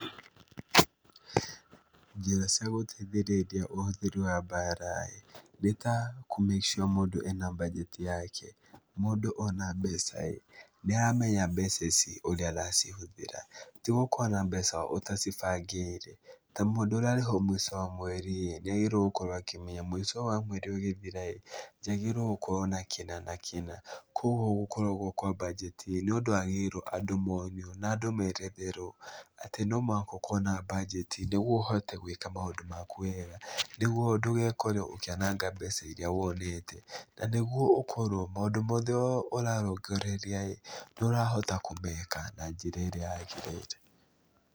Njĩra cia gũteithĩrĩria ũhũthĩri wa mbara-ĩ nĩta kũ make sure mũndũ ena mbanjeti yake. Mũndũ ona mbeca-ĩ, nĩaramenya mbeca ici ũrĩa aracihũthĩra, tigũkorwo na mbeca ũtacibangĩire. Ta mũndũ ũrarĩhwo mũico wa mweri-ĩ nĩagĩrĩirwo gũkorwo akĩmenya mũico wa mweri ũgĩthira-ĩ, njagĩrĩirwo gũkorwo na kĩna na kĩna, kuoguo gũkoragwo kwa mbanjeti-ĩ , nĩũndũ wagĩrĩirwo andũ monio na andũ meretherwo atĩ no mũhaka ũkorwo na mbajeti nĩguo ũhote gwĩka maũndũ maku weega, nĩguo ndũgekore ũkĩananga mbeca iria wonete, na nĩguo ũkorwo maũndũ mothe ũrarongoreria-ĩ nĩũrahota kũmeka na njĩra ĩrĩa yagĩrĩire.